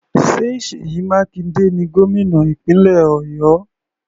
Ṣé Seyi Makinde ni gómìnà ìpínlẹ̀ Ọ̀yọ́?